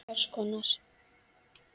Hvers konar.